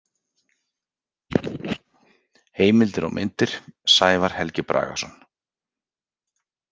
Heimildir og myndir: Sævar Helgi Bragason.